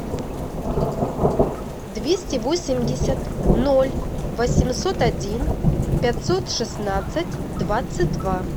двести восемьдесят ноль восемьсот один пятьсот шестнадцать двадцать два